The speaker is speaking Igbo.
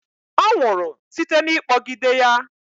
Ọ nwụrụ site n'ịkpọgide ya.